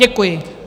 Děkuji.